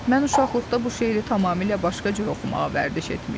Mən uşaqlıqda bu şeiri tamamilə başqa cür oxumağa vərdiş etmişdim.